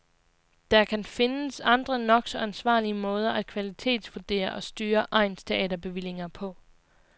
Der kan findes andre nok så ansvarlige måder at kvalitetsvurdere og styre egnsteaterbevillinger på.